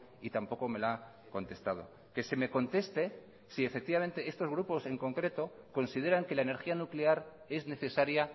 y tampoco me la ha contestado que se me conteste si efectivamente estos grupos en concreto consideran que la energía nuclear es necesaria